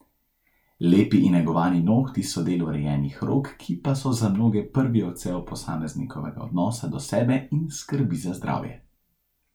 Lepi in negovani nohti so del urejenih rok, ki pa so za mnoge prvi odsev posameznikovega odnosa do sebe in skrbi za zdravje.